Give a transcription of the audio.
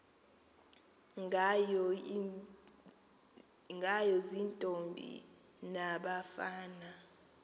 ngayo ziintombi nabafana